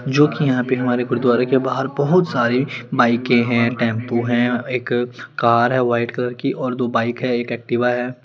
जोकि यहाँ पे हमारे गुरूद्वारे के बाहर बहुत सारी बाइकें हैं टेम्पू हैं एक कार है वाइट कलर की और दो बाइक हैं एक एक्टिवा है।